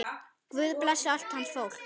Guð blessi allt hans fólk.